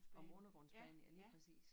Om undergrundsbanen ja lige præcis